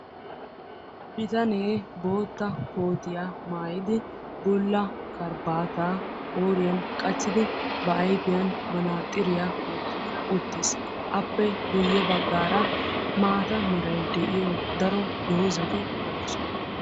Bitanne bootta koottiya maayid, bulla karabaatta qooriyan qachchidi ba ayfiyaani manaxiriyaa wottidi uttiis, appe guye baggaara maata meraay de'yo daro doozati de'esonna.